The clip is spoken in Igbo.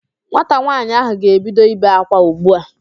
Nwata nwaanyị ahụ ga-ebido ibe ákwá ugbu a